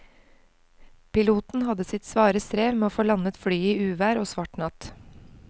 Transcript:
Piloten hadde sitt svare strev med å få landet flyet i uvær og svart natt.